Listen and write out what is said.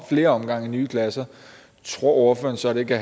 flere omgange i nye klasser tror ordføreren så det kan